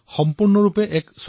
এয়া সম্পূৰ্ণৰূপে ভাৰতীয়